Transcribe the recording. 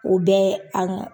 O bɛɛ an ŋa